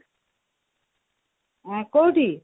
ହଁ କୋଉଠି